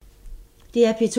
DR P2